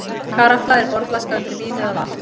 Karafla er borðflaska undir vín eða vatn.